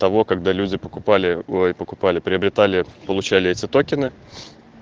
того когда люди покупали ой покупали приобретали получали эти токены